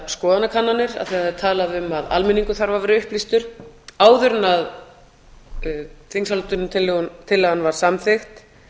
skoðanakannanir af því að það var talað um að almenningur þarf að vera upplýstur áður en þingsályktunartillagan var samþykkt